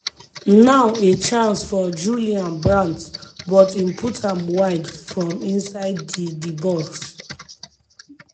now a chance for julian brandt but im put am wide from inside ddi box.